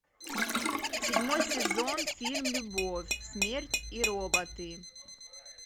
седьмой сезон фильм любовь смерть и роботы